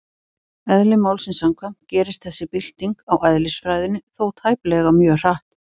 Eðli málsins samkvæmt gerist þessi bylting á eðlisfræðinni þó tæplega mjög hratt.